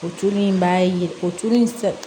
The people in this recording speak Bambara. O tulu in b'a ye o tulu in